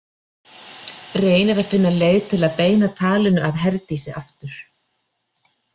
Reynir að finna leið til að beina talinu að Herdísi aftur.